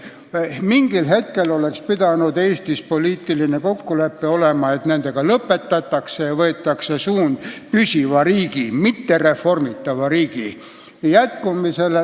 Mingil hetkel oleks Eestis pidanud tekkima poliitiline kokkulepe, et need lõpetatakse ja võetakse suund püsivale riigile, mitte pidevalt riigikorraldust muutva riigi jätkumisele.